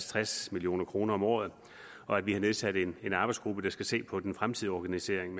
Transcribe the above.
tres million kroner om året og at vi har nedsat en arbejdsgruppe der skal se på den fremtidige organisering